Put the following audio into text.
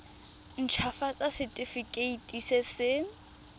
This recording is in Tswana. nt hafatsa setefikeiti se se